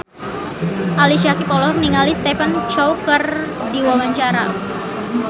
Ali Syakieb olohok ningali Stephen Chow keur diwawancara